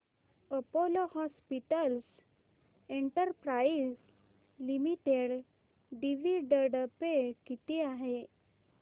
Apollo hospitals enterprise limited dividend pay किती आहे